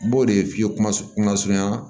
N b'o de f'i ye kuma kuma surunya